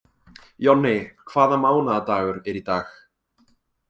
Jonni, hvaða mánaðardagur er í dag?